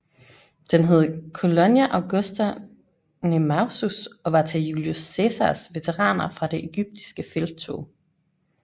Den hed Colonia Augusta Nemausus og var til Julius Cæsars veteraner fra det egyptiske felttog